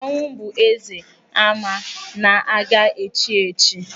Ọnwụ bụ eze ama na-aga echi echi.